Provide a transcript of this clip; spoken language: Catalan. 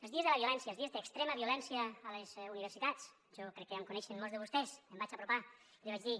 els dies de la violència els dies d’extrema violència a les universitats jo crec que ja em coneixen molts de vostès em vaig apropar i li vaig dir